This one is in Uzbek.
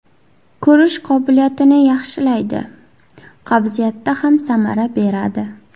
Ko‘rish qobiliyatini yaxshilaydi, qabziyatda ham samara beradi.